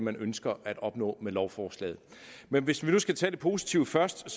man ønsker at opnå med lovforslaget men hvis vi nu skal tage det positive først